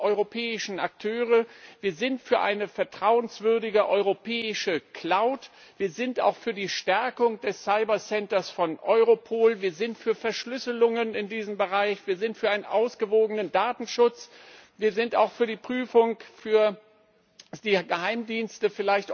europäischen Akteure, wir sind für eine vertrauenswürdige europäische cloud wir sind auch für die Stärkung des cyber centers von Europol, wir sind für Verschlüsselungen in diesem Bereich, wir sind für einen ausgewogenen Datenschutz, wir sind auch für die Prüfung der Geheimdienste.